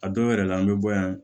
A dɔw yɛrɛ la an bɛ bɔ yan